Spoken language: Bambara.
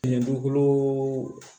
Dugukolo